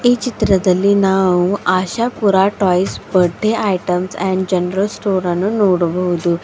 ಈ ಚಿತ್ರದಲ್ಲಿ ನಾವು Ashapura toys birthday items and general store ಅನ್ನು ನೋಡಬೋದು.